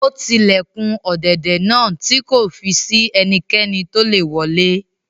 Ó ti ilẹ̀kùn ọ̀dẹ̀dẹ̀ náà tí kò fi si ẹnikẹ́ni tolè wọlé